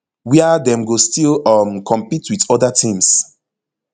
wia dem go still um compete with oda teams